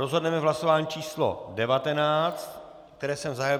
Rozhodneme v hlasování číslo 19, které jsem zahájil.